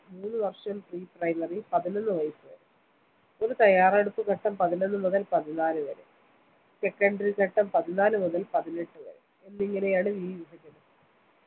മൂന്ന് വേഷം pre primrary പതിനൊന്ന് വയസ്സ് വരെ ഒരു തയ്യാറെടുപ്പ് ഘട്ടം പതിനൊന്ന് മുതൽ പതിനാല് വരെ secondary ഘട്ടം പതിനാല് മുതൽ പതിനെട്ട് വരെ എന്നിങ്ങനെയാണ് ഈ വിഭജനം